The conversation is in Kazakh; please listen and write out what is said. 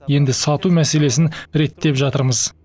енді сату мәселесін реттеп жатырмыз